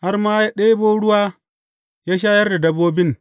Har ma ya ɗebo ruwa ya shayar da dabbobin.